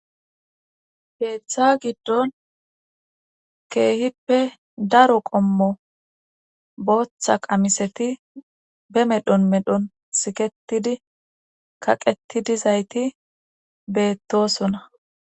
heeththa giddon keehippe daro qommo booththa qamiseti be medhon medhon siketidi kaqetidi zayti beettosona